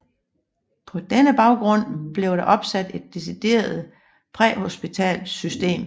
På denne baggrund blev der opsat et decideret præhospitalt system